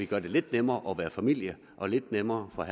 gøre det lidt nemmere at være familie og lidt nemmere at